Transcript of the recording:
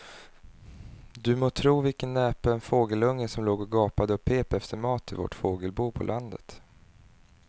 Du må tro vilken näpen fågelunge som låg och gapade och pep efter mat i vårt fågelbo på landet.